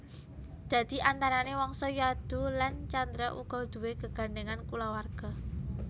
Dadi antarané Wangsa Yadu lan Candra uga duwé gegandhèngan kulawarga